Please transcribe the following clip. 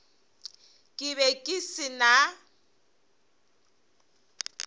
ke be ke se na